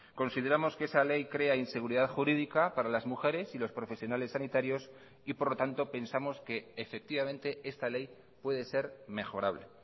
consideramos que esa ley crea inseguridad jurídica para las mujeres y los profesionales sanitarios y por lo tanto pensamos que efectivamente esta ley puede ser mejorable